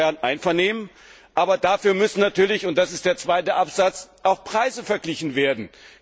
Darüber besteht Einvernehmen, aber dafür müssen natürlich und das ist der zweite Absatz auch Preise verglichen werden!